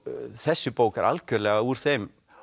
þessi bók er algjörlega úr þeim